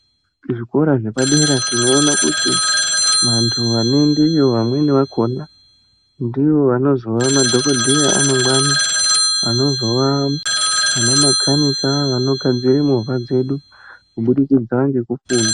Kuzvikora zvepadera tinona kuti vantu vanoendeyo vamweni vakona ndivo vanozova madhogodheya amangwani. Anozova vanamakanika vanogadzira movha dzedu kubudikidza ngekufunda.